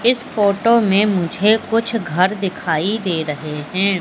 इस फोटो में मुझे कुछ घर दिखाई दे रहे हैं।